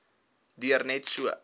duur net so